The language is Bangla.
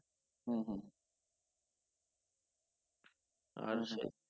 আচ্ছা।